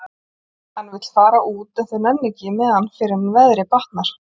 Hann vill fara út en þau nenna ekki með hann fyrr en veðrið batnar.